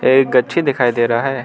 एक गच्छी दिखाई दे रहा है।